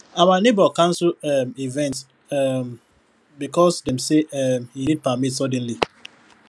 our neighbor cancel um event um because dem say um e need permit suddenly